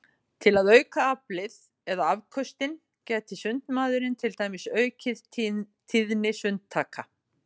Til að auka aflið eða afköstin gæti sundmaðurinn til dæmis aukið tíðni sundtaka.